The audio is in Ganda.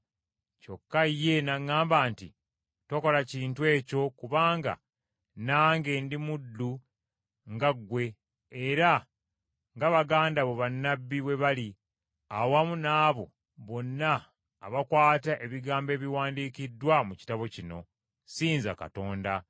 kyokka ye n’aŋŋamba nti, “Tokola kintu ekyo kubanga nange ndi muddu nga ggwe era nga baganda bo bannabbi bwe bali, awamu n’abo bonna abakwata ebigambo ebiwandiikiddwa mu kitabo kino. Ssinza Katonda.”